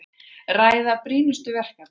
Ræða brýnustu verkefnin